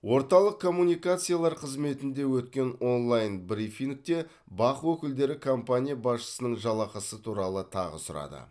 орталық коммуникациялар қызметінде өткен онлайн брифингте бақ өкілдері компания басшысының жалақысы туралы тағы сұрады